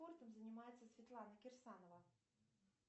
спортом занимается светлана кирсанова